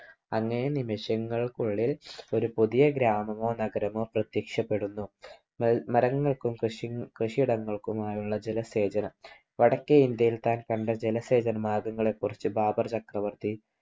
അനേക നിമിഷങ്ങൾക്കുള്ളിൽ ഒരു പുതിയ ഗ്രാമമോ നഗരമോ പ്രത്യക്ഷപ്പെടുന്നു. മരങ്ങൾക്കും കൃഷിയിടങ്ങൾക്കും ആയുള്ള ജലശേഖരം, വടക്കേ ഇന്ത്യയിൽ താൻ കണ്ട ജലസേചന മാർഗങ്ങളെക്കുറിച്ച് ബാബർ ചക്രവർത്തി